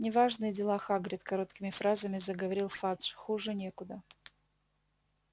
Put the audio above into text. неважные дела хагрид короткими фразами заговорил фадж хуже некуда